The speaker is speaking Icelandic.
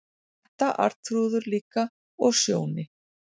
Edda, Arnþrúður líka, og Sjóni.